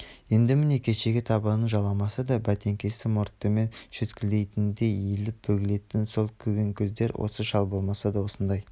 енді міне кешегі табанын жаламаса да бәтеңкесін мұртымен шөткілейтіндей иіліп-бүгілетін сол көгенкөздер осы шал болмаса осындай